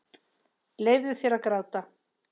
Leyfðu þér að gráta.